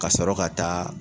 Kasɔrɔ ka taa